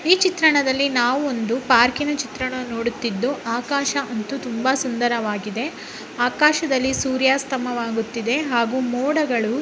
ಈ ಚಿತ್ರಣದಲ್ಲಿ ನಾವು ಒಂದು ಪಾರ್ಕ್ ಇನ ಚಿತ್ರಣವನ್ನು ನೋಡುತ್ತಿದ್ದು ಆಕಾಶ ಅಂತೂ ತುಂಬಾ ಸುಂದರವಾಗಿದೆ ಆಕಾಶದಲ್ಲಿ ಸೂರ್ಯಾಸ್ತಾಮಾ ಆಗುತ್ತಿದೆ ಹಾಗೂ ಮೋಡಗಳು--